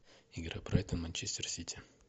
игра брайтон манчестер сити